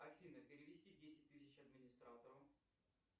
афина перевести десять тысяч администратору